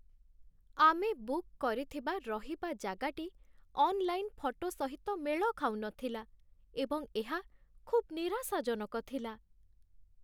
ଆମେ ବୁକ୍ କରିଥିବା ରହିବା ଜାଗାଟି ଅନ୍‌ଲାଇନ୍ ଫଟୋ ସହିତ ମେଳ ଖାଉନଥିଲା, ଏବଂ ଏହା ଖୁବ୍ ନିରାଶାଜନକ ଥିଲା।